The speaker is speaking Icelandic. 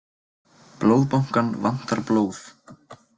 Blóðbankann vantar blóð